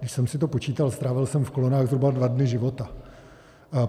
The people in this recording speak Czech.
Když jsem si to počítal strávil jsem v kolonách zhruba dva dny života.